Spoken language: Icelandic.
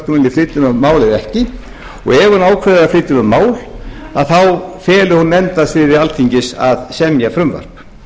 þau mál eða ekki og ef þau ákveða að flytja um þau mál þá feli hún nefnd á sviði alþingis að semja frumvarp